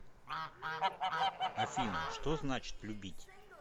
афина что значит любить